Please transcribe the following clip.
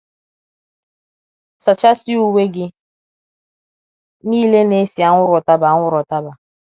Sachasịa uwe gị nile na - esi anwụrụ ụtaba anwụrụ ụtaba.